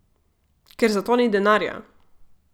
Ker zato ni denarja!